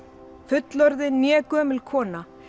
fullorðin né gömul kona